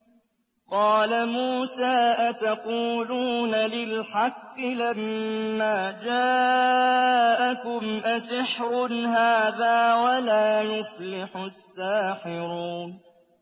قَالَ مُوسَىٰ أَتَقُولُونَ لِلْحَقِّ لَمَّا جَاءَكُمْ ۖ أَسِحْرٌ هَٰذَا وَلَا يُفْلِحُ السَّاحِرُونَ